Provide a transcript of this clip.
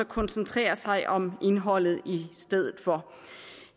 koncentrere sig om indholdet i stedet for